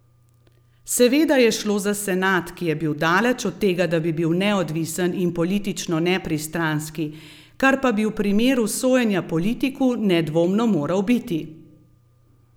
Seveda je šlo za senat, ki je bil daleč od tega, da bi bil neodvisen in politično nepristranski, kar pa bi v primeru sojenja politiku nedvomno moral biti!